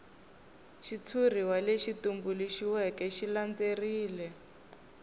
xitshuriwa lexi tumbuluxiweke xi landzelerile